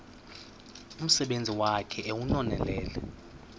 umsebenzi wakhe ewunonelele